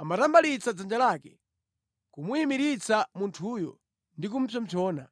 amatambalitsa dzanja lake, kumuyimiritsa munthuyo ndi kupsompsona.